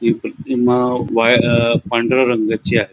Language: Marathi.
वायर अ पांढऱ्या रंगाची आहे.